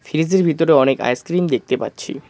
ফ্রিজের ভিতরে অনেক আইসক্রিম দেখতে পাচ্ছি।